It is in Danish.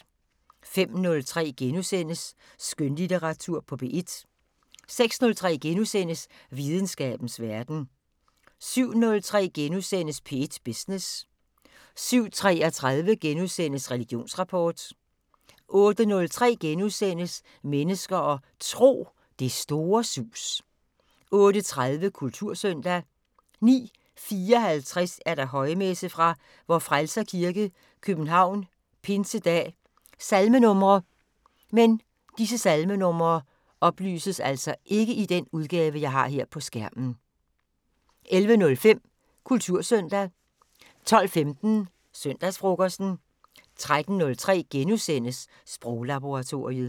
05:03: Skønlitteratur på P1 * 06:03: Videnskabens Verden * 07:03: P1 Business * 07:33: Religionsrapport * 08:03: Mennesker og Tro: Det store sus * 08:30: Kultursøndag 09:54: Højmesse - Fra Vor Frelser Kirke, København. Pinsedag. Salmenumre: 11:05: Kultursøndag 12:15: Søndagsfrokosten 13:03: Sproglaboratoriet *